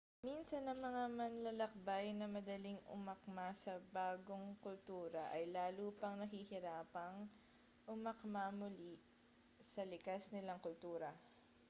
minsan ang mga manlalakbay na madaling umakma sa bagong kultura ay lalo pang nahihirapang umakma muli sa likas nilang kultura